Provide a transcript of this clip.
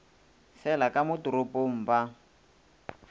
fele ka mo toropong ba